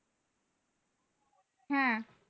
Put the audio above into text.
হ্যাঁ